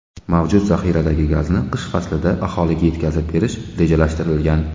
Mavjud zaxiradagi gazni qish faslida aholiga yetkazib berish rejalashtirilgan.